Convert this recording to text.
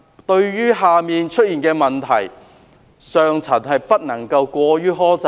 對於下層出現的問題，上層不能過於苛責。